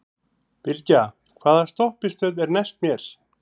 Bylgja, hvaða stoppistöð er næst mér?